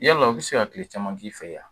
Iyala u be se ka kile caman k'i fɛ yen a